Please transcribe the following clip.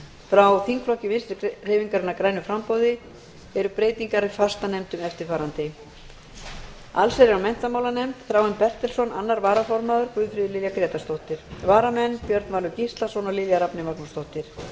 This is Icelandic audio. frá þingflokki vinstri hreyfingarinnar græns framboðs breytingar á fastanefndum allsherjar og menntamálanefnd þráinn bertelsson annar varaformaður og guðfríður lilja grétarsdóttir varamenn eru björn valur gíslason og lilja rafney magnúsdóttir